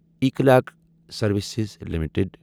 E clerks services limited